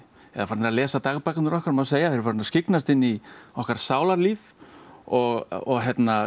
eru farnir að lesa dagbækurnar okkar má segja þeir eru farnir að skyggnast inn í okkar sálarlíf og